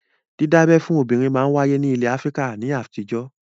Dídábẹ́ fún obìnrin máa ń wáyé ní ilẹ̀ Áfíríkà ní àtijọ́